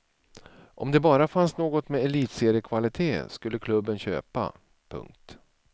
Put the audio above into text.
Om det bara fanns något med elitseriekvalite skulle klubben köpa. punkt